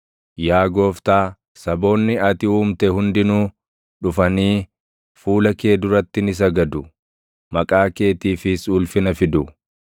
Yaa Gooftaa, saboonni ati uumte hundinuu dhufanii, fuula kee duratti ni sagadu; maqaa keetiifis ulfina fidu.